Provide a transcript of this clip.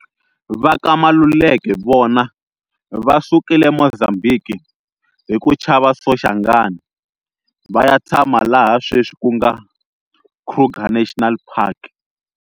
Va ka Maluleke vona va sukile Mozambiki hi ku chava Soshangane va ya tshama laha sweswi ku nga Kruger National Park.